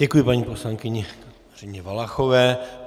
Děkuji, paní poslankyni Kateřině Valachové.